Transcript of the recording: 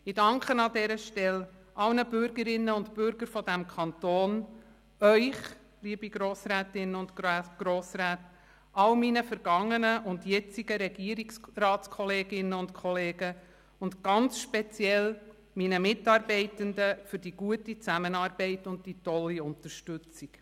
Ich danke an dieser Stelle allen Bürgerinnen und Bürgern dieses Kantons, Ihnen, liebe Grossrätinnen und Grossräte, allen meinen vergangenen und jetzigen Regierungsratskolleginnen und -kollegen und ganz speziell meinen Mitarbeitenden für die gute Zusammenarbeit und die tolle Unterstützung.